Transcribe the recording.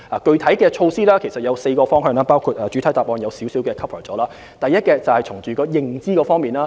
具體措施可分為4個方向，主體答覆已提及當中一部分，包括第一，從認知方面入手。